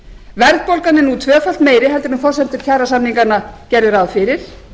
verðbólgan er nú tvöfalt meiri en forsendur kjarasamninganna gerðu ráð fyrir